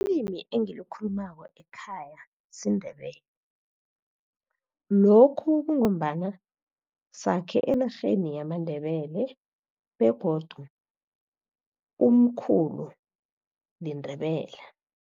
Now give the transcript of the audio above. Ilimi engilikhulumako ekhaya siNdebele, lokhu kungombana sakhe enarheni yamaNdebele begodu umkhulu liNdebele.